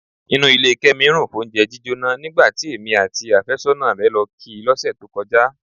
Inú ilé Kẹ́mi rùn fóúnjẹ jíjóná nígbà tí èmi àti ọkọ àfẹ́sọ́nà rẹ̀ lọ kí i lọ́sẹ̀ tó kọjá.